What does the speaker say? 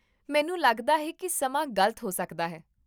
ਮੈਨੂੰ ਲੱਗਦਾ ਹੈ ਕਿ ਸਮਾਂ ਗਲਤ ਹੋ ਸਕਦਾ ਹੈ